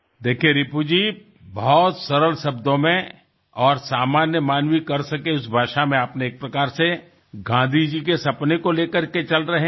જુઓ રિપુજી ઘણા સરળ શબ્દો અને સામાન્ય માનવી કરી શકે તે ભાષામાં તમે એક રીતે ગાંધીજીનાં સપનાંને લઈને ચાલી રહ્યા છો